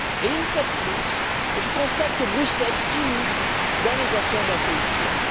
Une fois de plus, je constate que Bruxelles s'immisce dans les affaires d'un pays tiers.